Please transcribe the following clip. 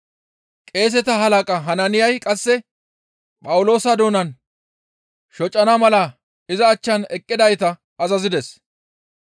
Qeeseta halaqa Hanaaniyay qasse Phawuloosa doonan shocana mala iza achchan eqqidayta azazides.